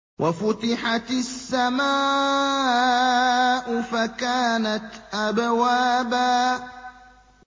وَفُتِحَتِ السَّمَاءُ فَكَانَتْ أَبْوَابًا